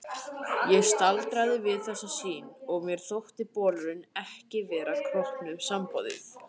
Ég staldraði við þessa sýn og mér þótti bolurinn ekki vera kroppnum samboðinn.